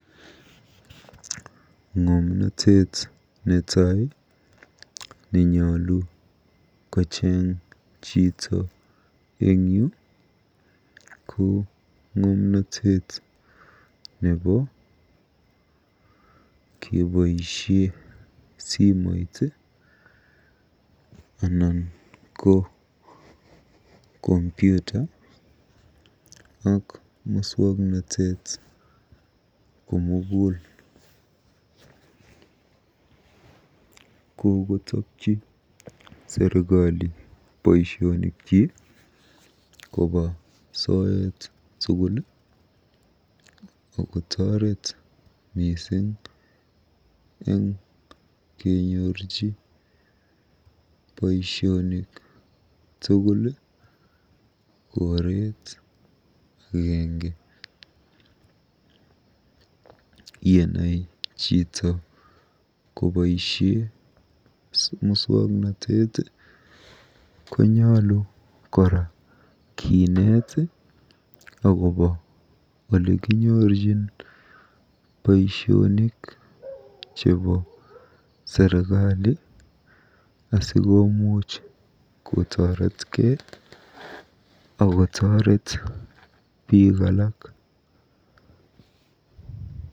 Ng'omnotet netai nenyolu kocheng chito eng yu ngomnotet nebo keboisie simoit anan ko Kompyuta anan ko muswoknotet komugul. Kokotokyi serikali boisionikyi koba soet tugul akotooret mising eng kenyorchi boisionik tugul koret agenge. Yenai chito agobo muswoknotet konyolu kora kineet olikinyorjin boisionik chebo serikali asikomuuch kotoretkei akotooret biik alak.